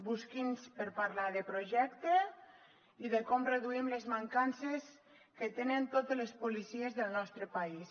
busquin nos per parlar de projecte i de com reduïm les mancances que tenen totes les policies del nostre país